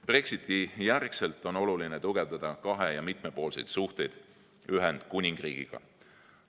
Brexiti järel on oluline tugevdada kahe‑ ja mitmepoolseid suhteid Ühendkuningriigiga.